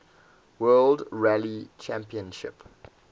world rally championship